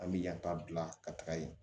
An bɛ yata bila ka taga yen